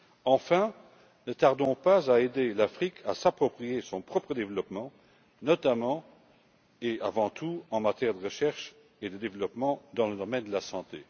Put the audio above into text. Enfin, ne tardons pas à aider l'Afrique à s'approprier son propre développement, notamment et avant tout en matière de recherche et de développement dans le domaine de la santé.